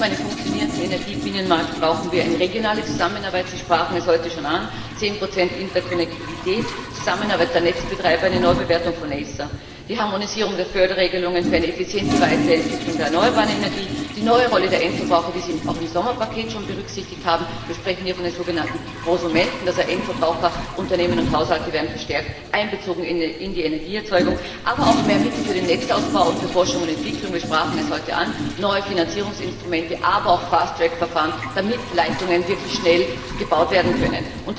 Neben einem funktionierenden Energiebinnenmarkt brauchen wir eine regionale Zusammenarbeit Sie sprachen es heute schon an zehn Prozent Interkonnektivität, Zusammenarbeit der Netzbetreiber, eine Neubewertung von ACER, die Harmonisierung der Förderregelungen für eine effiziente Weiterentwicklung der erneuerbaren Energie, die neue Rolle der Endverbraucher, die Sie auch im Sommerpaket schon berücksichtigt haben wir sprechen hier von den sogenannten Prosumenten, also Endverbraucher, Unternehmen und Haushalte werden verstärkt einbezogen in die Energieerzeugung, aber auch mehr Mittel für den Netzausbau und für Forschung und Entwicklung wir sprachen es heute an neue Finanzierungsinstrumente, aber auch fast Fast Track Verfahren, damit die Leitungen wirklich schnell gebaut werden können.